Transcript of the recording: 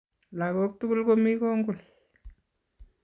Lagok tugul komi kongul.